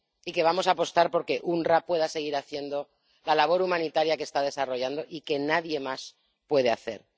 Y que vamos a apostar por que el OOPS pueda seguir haciendo la labor humanitaria que está desarrollando y que nadie más puede hacer.